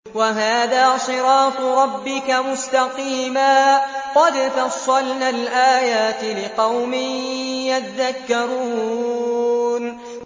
وَهَٰذَا صِرَاطُ رَبِّكَ مُسْتَقِيمًا ۗ قَدْ فَصَّلْنَا الْآيَاتِ لِقَوْمٍ يَذَّكَّرُونَ